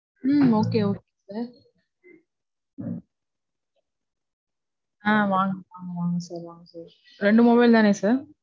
உம் Okay, okay sir. ஆஹ் வாங்க, வாங்க, வாங்க sir. வாங்க sir. ரெண்டு mobile தானே sir